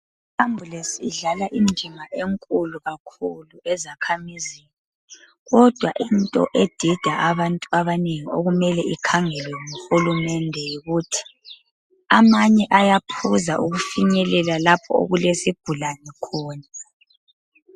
Iambulance idlala indima enkulu kakhulu ezakhamizini kodwa into edida abantu abanengi okumele ikhangelwe nguhulumende yikuthi amanye ayaphuza ukufinyelela lapho okulesigulane khona.